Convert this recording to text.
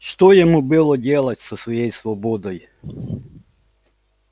что ему было делать со своей свободой